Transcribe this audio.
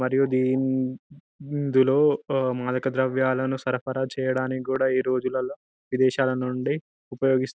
మరియు దీని ఇందులో మాదక ద్రవ్యాలను సరఫరా చేయడానికి కూడా ఈ రోజులల్లో విదేశాలనుండి ఉపయోగ